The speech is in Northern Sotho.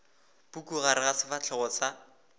puku gare ga sefahlego sa